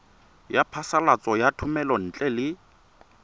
ya phasalatso ya thomelontle le